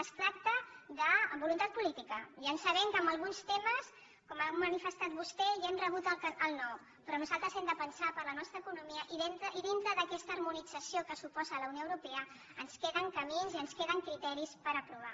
es tracta de voluntat política ja sabem que en alguns temes com ha manifestat vostè ja hem rebut el no però nosaltres hem de pensar per la nostra economia i dintre d’aquesta harmonització que suposa la unió europea ens queden camins i ens queden criteris per aprovar